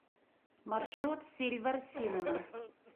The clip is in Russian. маршрут сильвер синема